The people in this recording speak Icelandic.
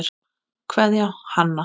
Kveðja, Hanna.